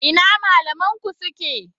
Ina malaman ku suke?